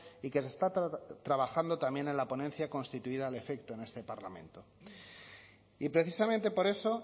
y que se está trabajando también en la ponencia constituida al efecto en este parlamento y precisamente por eso